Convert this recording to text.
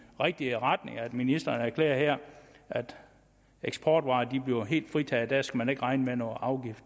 rigtige retning at ministeren her erklærer at eksportvarer bliver helt fritaget at man ikke skal regne med nogen afgift